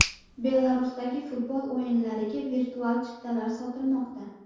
Belarusdagi futbol o‘yinlariga virtual chiptalar sotilmoqda.